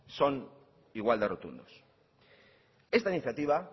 son igual de rotundos esta iniciativa